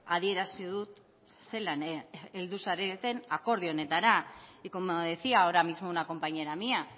adierazi dut zelan heldu zareten akordio honetara y como decía ahora mismo una compañera mía